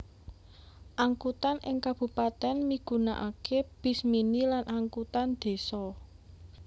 Angkutan ing kabupatèn migunaaké bis mini lan angkutan désa